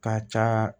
Ka ca